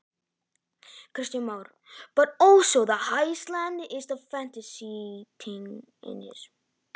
Kristján Már: En líka hálendið, heillar það í þessu?